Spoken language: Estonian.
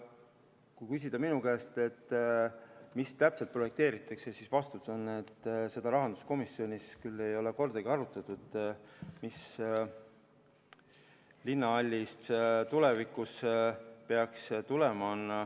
Kui küsida minu käest, mida täpselt projekteeritakse, siis vastus on, et seda ei ole rahanduskomisjonis küll kordagi arutatud, mis linnahallist tulevikus peaks tulema.